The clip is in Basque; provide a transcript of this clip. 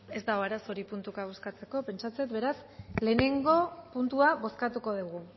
ez dago arazorik puntuka bozkatzeko pentsatzen dut beraz lehenengo puntua bozkatuko dugu